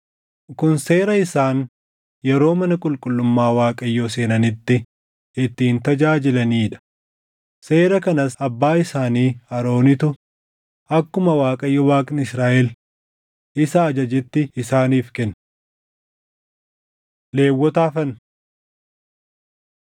Kun seera isaan yeroo mana qulqullummaa Waaqayyoo seenanitti ittiin tajaajilanii dha; seera kanas abbaa isaanii Aroonitu akkuma Waaqayyo Waaqni Israaʼel isa ajajetti isaaniif kenne. Lewwota Hafan